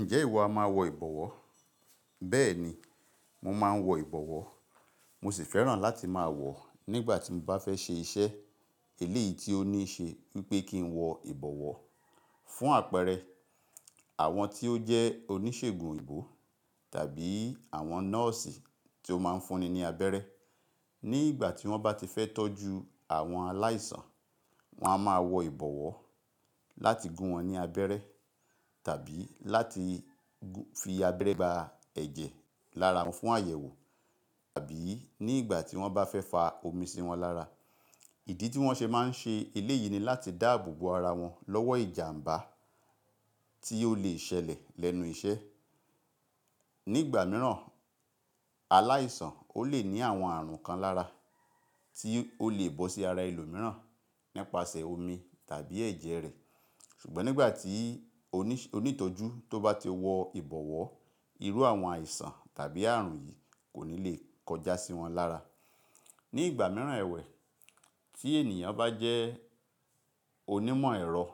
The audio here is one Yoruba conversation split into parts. Ǹjẹ́ ìwọ a máa wọ ìbọ̀wọ́? Bẹ́ẹ̀ni, mo máa ń wọ ìbọ̀wọ́. Mo sì fẹ́ràn láti máa wọ̀ nígbà tí mo bá fẹ́ ṣe iṣẹ́ eléyìí tí ó ní ṣe wípé kí n wọ ìbọ̀wọ́. Fún àpẹẹrẹ, àwọn tí ó jẹ́ oníṣègùn òyìnbó tàbí àwọn nọ́ọ̀sì tí ó máa ń fúnni ní abẹ́rẹ́ nígbà tí wọ́n bá ti fẹ́ tọ́jú àwọn aláìsàn, wọ́n a máa wọ ìbọ̀wọ́ láti gún wọn ní abẹ́rẹ́ tàbí láti fi abẹ́rẹ́ gba ẹ̀jẹ̀ lára wọn fún àyẹ̀wò, tàbí nígbà tí wọ́n bá fẹ́ fa omi sí wọn lára. Ìdí tí wọ́n ṣe máa ń ṣe eléyìí ni láti dáàbò bo ara wọn lọ́wọ́ ìjàmbá tí ó lè ṣẹlẹ̀ lẹ́nu iṣẹ́. Nígbà mìíràn aláìsàn ó lè ní àwọn ààrùn kan lára tí ó lè bọ́ sí ara ẹlòmíràn nípasẹ̀ omi tàbí ẹ̀jẹ̀ rẹ̀. Ṣùgbọ́n nígbà tí onítọ́jú tó bá ti wọ ìbọ̀wọ́, irú àwọn àìsàn tàbí ààrùn yìí kò ní lè kọjá sí wọn lára. Ni igba miiran ẹwẹ ti ènìyàn bajẹ onimọ ẹrọ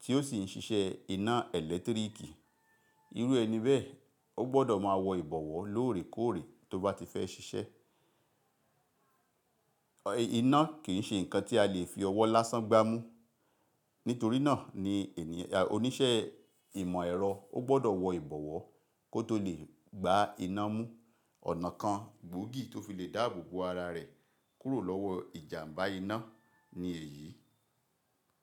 tio si n sisẹ ina electric, iru ẹni bẹẹ o gbọdọ maa wọ ibọwọ loorekoore toba tifẹ sisẹ Iná kì í ṣe nǹkan tí a lè fi ọwọ́ lásán gbá mú. Nítorí náà ni oníṣẹ́ ìmọ̀ ẹ̀rọ ó gbọ́dọ̀ wọ ìbọ̀wọ́ kó tó lè gbá iná mú. Ọ̀nà kan gbóògì tó fi lè dáàbò bo ara rẹ̀ kúrò lọ́wọ́ ìjàmbá iná ni èyí.